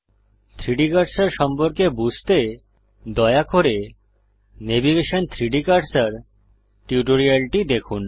3ডি কার্সার সম্পর্কে বুঝতে দয়া করে নেভিগেশন 3ডি কার্সার টিউটোরিয়ালটি দেখুন